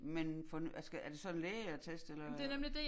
Men for altså er det så en lægeattest eller